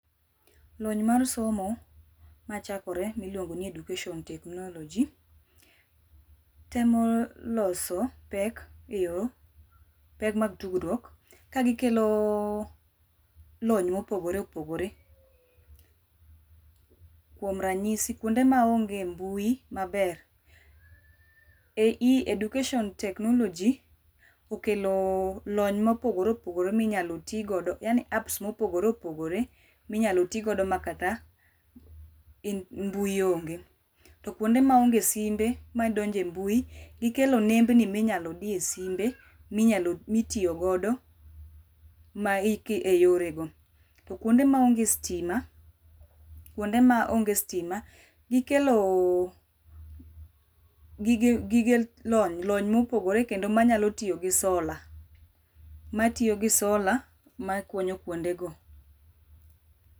Lony mar somo machakore miluongo ni education technology temo loso pek e yo pek mag tudruok Kagikelo lony mopogore opogore, kuom ranyisi kuonde maonge mbui maber. Education technology okelo lony mopogore opogore minyalo ti godo, yani apps mopogore opogore minyal tii kodo makata mbui onge. To kuonde maonge simbe ma donje a mbui, gikelo nembni minyalo diye simbe minyalo mitiyo godo e yore go. To kuonde maonge stima, kuonde maonge stima, gikelo gige gige lony, lony mopogore kendo manyalo tiyo gi solar, matiyo gi solar makonyo kuonde go.